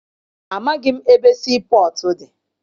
Amaghị m ebe sii pọtụ dị.